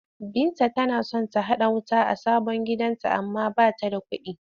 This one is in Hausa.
Binta tana son ta haɗa wuta a sabon gidanta amma ba ta da kuɗi.